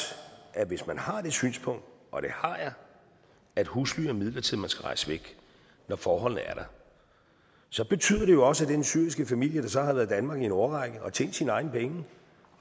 at hvis man har det synspunkt og det har jeg at husly er midlertidigt og skal rejse væk når forholdene er der så betyder det jo også at den syriske familie der så har været i danmark i en årrække og tjent sine egne penge